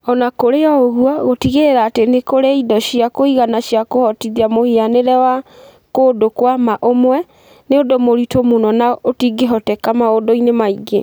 O na kũrĩ ũguo, gũtigĩrĩra atĩ nĩ kũrĩ indo cia kũigana cia kũhotithia mũhianĩre wa "kũndũ kwa mwana ũmwe" nĩ ũndũ mũritũ mũno na ũtingĩhoteka maũndũ-inĩ maingĩ.